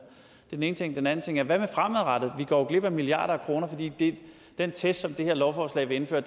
den ene ting den anden ting er det fremadrettede vi går jo glip af milliarder af kroner fordi den test som det her lovforslag vil indføre